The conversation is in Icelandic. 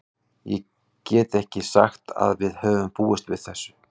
Ég get ekki sagt að við höfum búist við þessu.